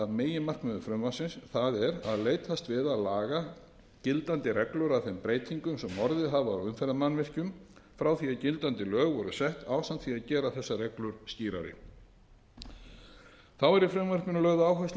meginmarkmiðum frumvarpsins það er að leitast við að laga gildandi reglur að þeim breytingum sem orðið hafa á umferðarmannvirkjum frá því að gildandi lög voru sett ásamt því að gera þessar reglur skýrari þá er í frumvarpinu lögð áhersla er